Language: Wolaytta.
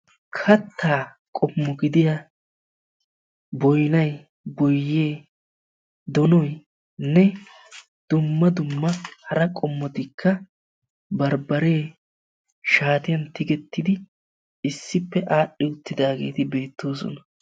kataa qommo gidiyaa boynay boyee donoynne dumma dumma hara qommotuppe barbaree shaatiyaan tigetidagee issippe adhi utidaagee beetoosona.